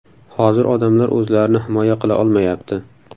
Hozir odamlar o‘zlarini himoya qila olmayapti”.